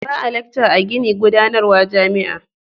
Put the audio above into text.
Ba a lakca a ginin gudanarwa jami'a.